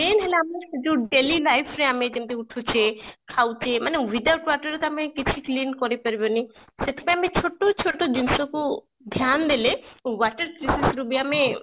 main ହେଲା ଆମେ ଯୋଉ daily life ରେ ଆମେ ଯେମିତି ଉଠୁଛେ ଖାଉଛେ ମାନେ without waterରେ ତ ଆମେ କିଛି clean କରି ପାରିବନି ସେଥି ପାଇଁ ଆମେ ଛୋଟ ଛୋଟ ଜିନିଷକୁ ଧ୍ୟାନ ଦେଲେ water crisis ଋ ବି ଆମେ